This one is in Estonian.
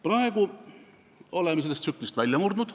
Praegu oleme sellest tsüklist välja murdnud.